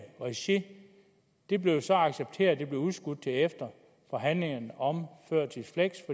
regi det blev så accepteret det blev udskudt til efter forhandlingerne om